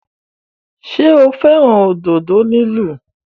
Ṣé o fẹ́ràn òdodo lílu?